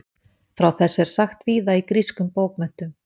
frá þessu er sagt víða í grískum bókmenntum